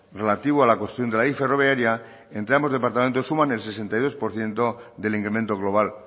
relativo a la cuestión de la y ferroviaria entre ambos departamentos suman el sesenta y dos por ciento del incremento global